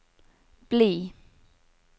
bli